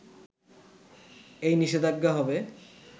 এই নিষেধাজ্ঞা হবে